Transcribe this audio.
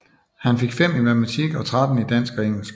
Han fik 5 i Matematik og 13 i Dansk og Engelsk